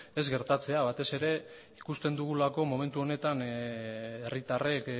ez gertatzea batez ere ikusten dugulako momentu honetan herritarrek